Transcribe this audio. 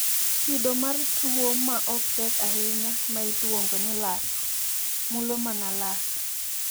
Kido mar tuwo ma ok tek ahinya, ma iluongo ni lak, mulo mana lak.